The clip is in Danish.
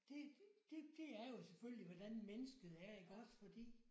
Det det det er jo selvfølgelig hvordan mennesket er iggås fordi